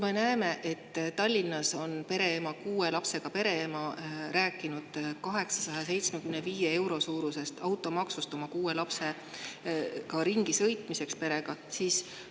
Me näeme, et Tallinnas on kuue lapsega pereema rääkinud 875 euro suurusest automaksust, perega, kuue lapsega ringi sõita.